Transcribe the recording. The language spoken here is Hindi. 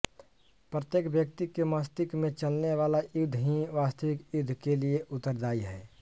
प्रत्येक व्यक्ति के मष्तिष्क में चलने वाला युद्ध ही वास्तविक युद्धों के लिए उत्तरदायी है